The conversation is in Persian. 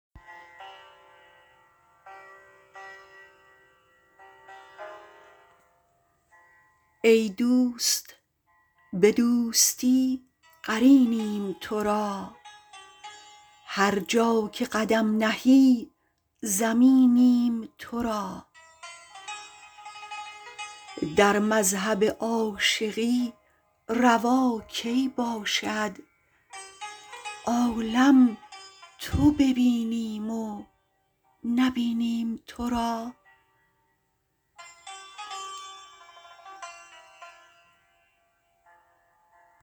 ای دوست به دوستی قرینیم ترا هرجا که قدم نهی زمینیم ترا در مذهب عاشقی روا کی باشد عالم تو ببینیم و نه بینیم ترا